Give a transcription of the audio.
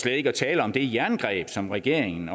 ikke at tale om det jerngreb som regeringen